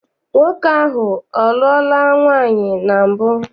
Nwoke ahụ a lụọla nwaanyị na mbụ?